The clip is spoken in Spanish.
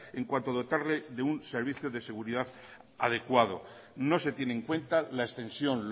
en cuanto a dotarle de un servicio de seguridad adecuado no se tiene en cuenta la extensión